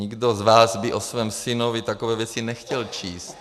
Nikdo z vás by o svém synovi takové věci nechtěl číst.